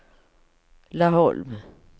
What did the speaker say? Laholm